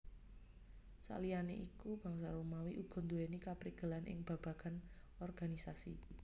Saliyané iku Bangsa Romawi uga nduwèni kaprigelan ing babagan organisasi